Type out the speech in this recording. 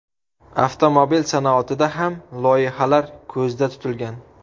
Avtomobil sanoatida ham loyihalar ko‘zda tutilgan.